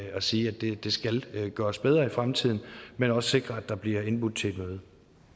og sige at det skal gøres bedre i fremtiden men også sikre at der bliver indbudt til